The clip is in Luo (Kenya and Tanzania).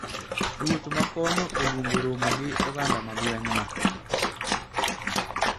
Ruoth ma kono oluongo romo gi oganda ma gweng` no